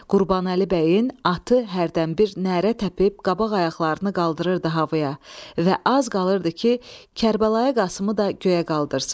Qurbanəli bəyin atı hərdən bir nərə təpib qabaq ayaqlarını qaldırırdı havaya və az qalırdı ki, Kərbəlayı Qasımı da göyə qaldırsın.